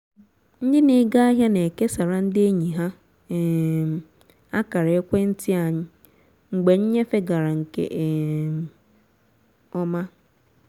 ndị n'ego ahịa na-ekesara ndị enyi ha um akara ekwenti anyị mgbe nnyefe gara nke um ọma